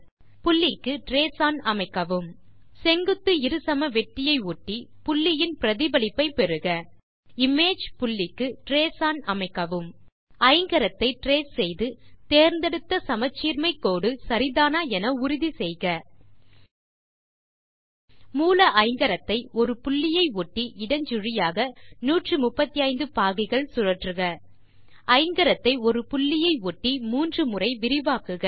புள்ளிக்கு trace on அமைக்கவும் செங்குத்து இருசமவெட்டியை ஒட்டி புள்ளியின் பிரதிபலிப்பை பெறுக இமேஜ் புள்ளிக்கு ட்ரேஸ் ஒன் அமைக்கவும் ஐங்கரத்தை ட்ரேஸ் செய்து தேர்ந்தெடுத்த சமச்சீர்மை கோடு சரிதானா என உறுதி செய்க மூல ஐங்கரத்தை ஒரு புள்ளியை ஒட்டி இடஞ்சுழியாக 135 பாகைகள் சுழற்றுக ஐங்கரத்தை ஒரு புள்ளியை ஒட்டி 3 முறை விரிவாக்குக